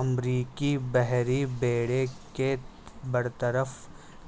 امریکی بحری بیڑے کے برطرف